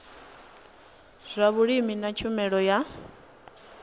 zwa vhulimi na tshumelo ya